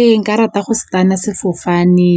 Ee, nka rata go se tana sefofane